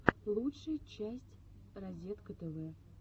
лучшая часть разеткатв